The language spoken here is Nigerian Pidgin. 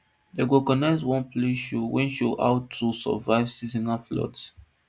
dem organise one play wey show how to survive seasonal floods